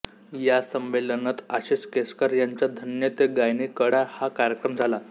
या संमेलनत आशिष केसकर यांचा धन्य ते गायनी कळा हा कार्यक्रम झाला